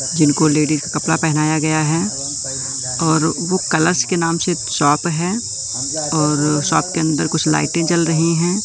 जिनको लेडिस का कपड़ा पहनाया गया है और वो कलर्स के नाम से शॉप है और शॉप के अंदर कुछ लाइटें जल रही है।